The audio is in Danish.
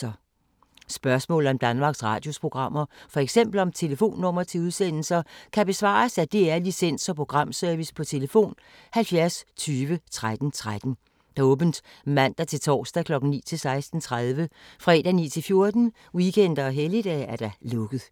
Spørgsmål om Danmarks Radios programmer, f.eks. om telefonnumre til udsendelser, kan besvares af DR Licens- og Programservice: tlf. 70 20 13 13, åbent mandag-torsdag 9.00-16.30, fredag 9.00-14.00, weekender og helligdage: lukket.